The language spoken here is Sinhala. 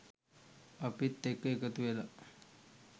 අපිත් එක්ක එකතු වෙලා.